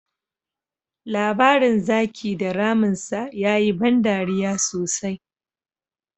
Labarin Zaki da Ramin sa ya yi ban dariya sosai.